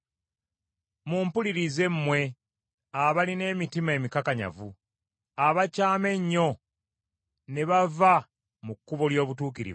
Mumpulirize mmwe abalina emitima emikakanyavu, abakyama ennyo ne bava mu kkubo ly’obutuukirivu.